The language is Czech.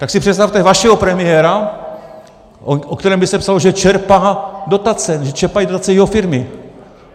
Tak si představte vašeho premiéra, o kterém by se psalo, že čerpá dotace, že čerpají dotace jeho firmy.